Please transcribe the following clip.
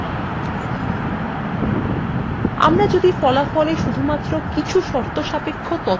আমরা যদি ফলাফলে শুধুমাত্র কিছু শর্তসাপেক্ষ তথ্য দেখতে চাই তাহলে এই ধাপটি প্রয়োজনীয়